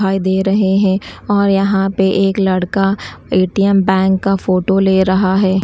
दे रहे हैं और यहां पे एक लड़का ए_टी_एम बैंक का फोटो ले रहा है।